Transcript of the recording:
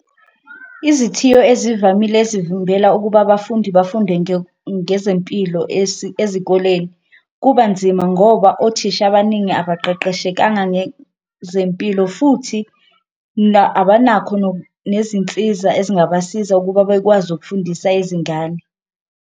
Izithiyo ezivamile ezivimbela ukuba abafundi bafunde ngezempilo ezikoleni kuba nzima ngoba othisha abaningi abaqeqeshekanga ngezempilo, futhi abanakho nezinsiza ezingabasiza ukuba bekwazi ukufundisa izingane.